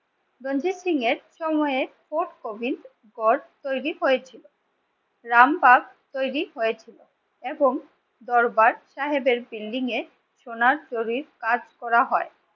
রঞ্জিত সিং এর সময়ের fort Gobindgarh তৈরি হয়েছিল। রামবাগ তৈরী হয়েছিল এবং দরবার সাহেবের বিল্ডিং এর সোনার সহিত কাজ করা হয়।